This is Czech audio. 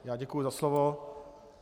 Já děkuji za slovo.